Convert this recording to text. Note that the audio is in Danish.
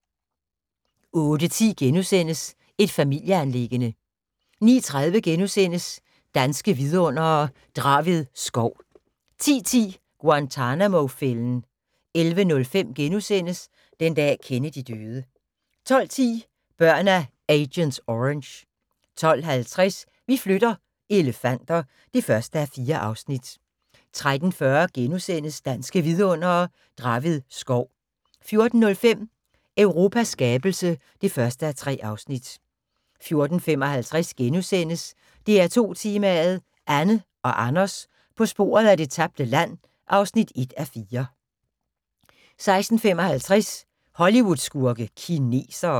08:10: Et familieanliggende * 09:30: Danske Vidundere: Draved skov * 10:10: Guantanamo-fælden 11:05: Den dag Kennedy døde * 12:10: Børn af agent orange 12:50: Vi flytter - elefanter (1:4) 13:40: Danske Vidundere: Draved skov * 14:05: Europas skabelse (1:3) 14:55: DR2 Tema: Anne og Anders på sporet af det tabte land (1:4)* 16:55: Hollywood-skurke: Kinesere